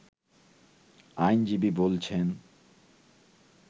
আইনজীবী বলছেন